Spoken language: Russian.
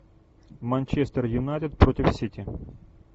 манчестер юнайтед против сити